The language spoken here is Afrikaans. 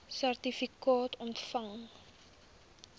sertifikaat ontvang